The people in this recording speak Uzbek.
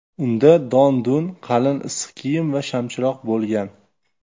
Unda don-dun, qalin issiq kiyim va shamchiroq bo‘lgan.